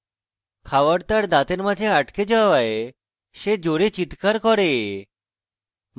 খাওয়ার তার দাঁতের মাঝে আটকে যাওয়ায় সে জোরে চিত্কার করে